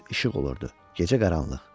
Gündüz işıq olurdu, gecə qaranlıq.